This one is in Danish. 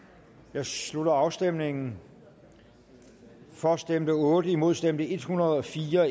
jeg slutter afstemningen for stemte otte imod stemte en hundrede og fire